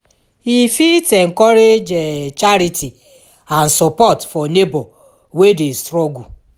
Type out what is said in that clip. e fit encourage charity and sopport for neibor wey dey struggle